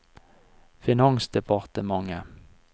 finansdepartementet